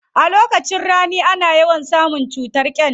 A lokacin rani ana yawan samun cutar gyanda.